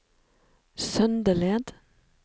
Søndeled